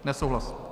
Nesouhlas.